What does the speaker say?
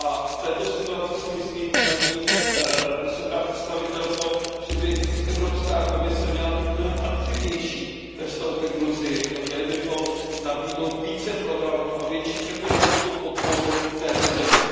V této situaci si myslím, paní vysoká představitelko, že by Evropská komise měla být mnohem aktivnější ve vztahu ke Gruzii a měli bychom nabídnout více programů a větší ekonomickou podporu této zemi.